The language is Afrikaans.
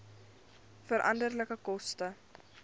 veranderlike koste